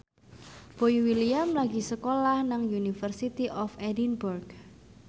Boy William lagi sekolah nang University of Edinburgh